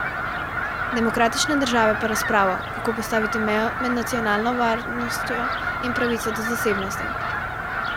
Demokratične države pa razpravo, kako postaviti mejo med nacionalno varnostjo in pravico do zasebnosti.